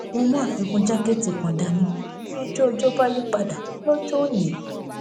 mo mú àfikún jákẹẹtì kan dání bí ojú ọjó bá yí padà lójó òní